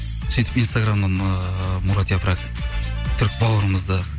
сөйтіп инстаграмнан ыыы мұрат япрак түрік баурымызды